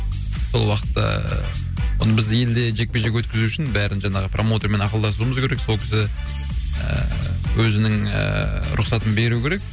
сол уақытта ааа оны елде біз жекпе жек өткізу үшін бәрін жаңағы промоутермен ақылдасуымыз керек сол кісі ііі өзінің ііі рұқсатын беруі керек